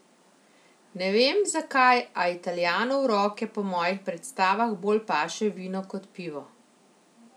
Ne vem, zakaj, a Italijanu v roke po mojih predstavah bolj paše vino kot pivo.